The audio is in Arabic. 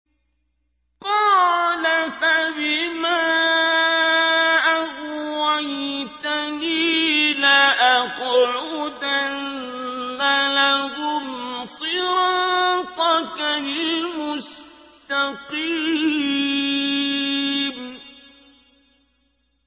قَالَ فَبِمَا أَغْوَيْتَنِي لَأَقْعُدَنَّ لَهُمْ صِرَاطَكَ الْمُسْتَقِيمَ